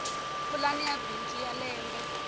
pulani ya bindzu ya lembe